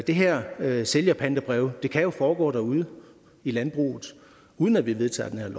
det her med sælgerpantebrevet kan jo foregå derude i landbruget uden at vi vedtager det her